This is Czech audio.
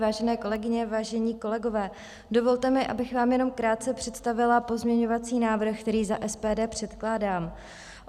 Vážené kolegyně, vážení kolegové, dovolte mi, abych vám jenom krátce představila pozměňovací návrh, který za SPD předkládám.